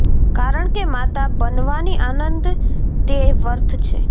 કારણ કે માતા બનવાની આનંદ તે વર્થ છે